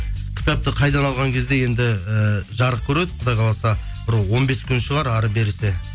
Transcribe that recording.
кітапты қайдан алған кезде енді ііі жарық көреді құдай қаласа бір он бес күн шығар әрі берісі